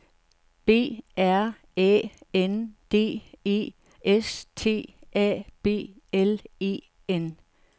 B R Æ N D E S T A B L E N